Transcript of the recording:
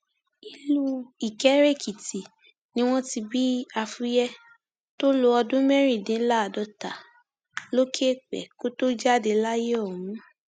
ìlú ìkéréèkìtì ni wọn ti bí afuye tó lo ọdún mẹrìndínláàádọta lókè èèpẹ kó tóó jáde láyé ọhún